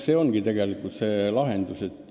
See ongi tegelikult see lahendus.